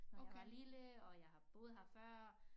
Når jeg var lille og jeg har boet her før